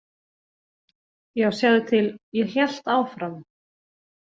Já, sjáðu til, hélt ég áfram.